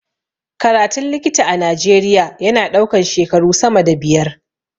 Karatun likita a najeria ya na ɗaukan shekaru sama da biyar